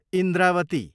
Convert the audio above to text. Indrawati